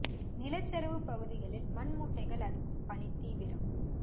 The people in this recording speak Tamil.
நிலச்சரிவு பகுதிகளில் மண் மூட்டைகள் அடுக்கும் பணி தீவிரம்